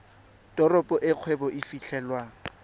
teropo e kgwebo e fitlhelwang